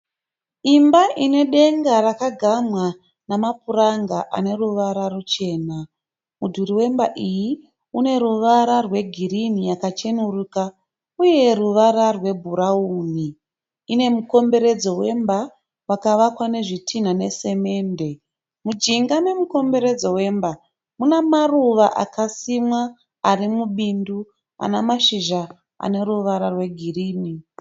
Imba ine denga rakagamwa nemapuranga ane ruvara ruchena. Mudhuri wemba iyi une ruvara rwegirini yakachenuruka uye ruvara rwebhurauni. Ine mukomberodzo wemba wakavakwa nezvitinha nesemende. Mujinga memukomberedzo wemba mune maruva akasimwa ari mubindu ane mashizha ane ruvara rwegirini.